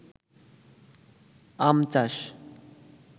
আম চাষ